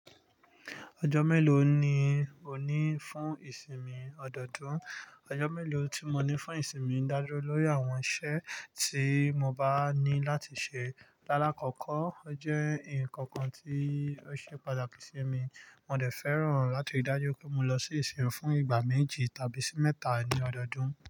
Ọjọ́ mélòó ni o ní fún ìsinmi ọdọọdún? Ọjọ́ mélòó tí mo ní fún ìsinmi ń dájú lórí àwọn iṣẹ́ tí mo bá ní láti ṣe. Lálákọkọ́, ó jẹ́ nǹkan kan tí ó ṣe pàtàkì sí mi, mo dẹ̀ fẹ́ràn láti dájú pé mo lọ sí ìṣirò fún ìgbà méjì tàbí sí mẹ́ta ní ọdọọdún.